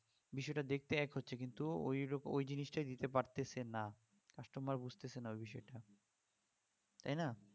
বিষয়টা দেখতে এক হচ্ছে কিন্তু ঐরকম ওই জিনিসটা দিতে পারছে না customer বুঝছে না ওই বিষয়টা তাইনা